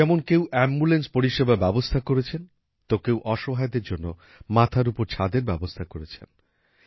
যেমন কেউ এম্বুলেন্স পরিষেবা ব্যাবস্থা করেছেন তো কেউ অসহায়দের জন্য মাথার উপর ছাদের ব্যবস্থা করছেন